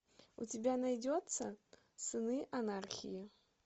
у тебя найдется сыны анархии